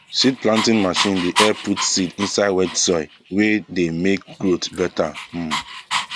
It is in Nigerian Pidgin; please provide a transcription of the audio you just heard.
seed planting machine dey help put seed inside wet soil wey dey make growth better um